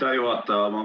Aitäh, juhataja!